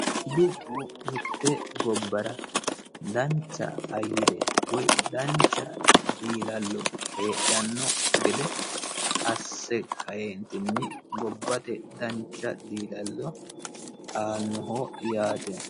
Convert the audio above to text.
Dubbu mitte gobbara dancha ayyare woyi dancha diilallo heedhano gede asse kaeentini gobate dancha diilalo aanoho yaate